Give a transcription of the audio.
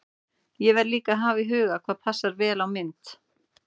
Ég verð líka að hafa í huga hvað passar vel á mynd.